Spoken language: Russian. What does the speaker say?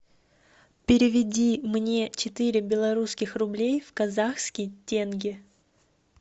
переведи мне четыре белорусских рублей в казахские тенге